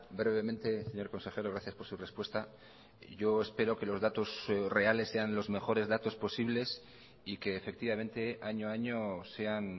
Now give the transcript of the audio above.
brevemente señor consejero gracias por su respuesta yo espero que los datos reales sean los mejores datos posibles y que efectivamente año a año sean